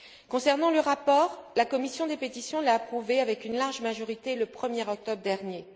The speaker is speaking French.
Concernant le rapport, la commission des pétitions l'a approuvé avec une large majorité le 1 er octobre dernier.